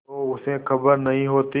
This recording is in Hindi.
तो उसे खबर नहीं होती